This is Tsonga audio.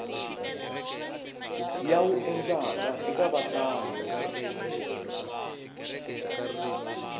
ya wu endlaka eka vahlayi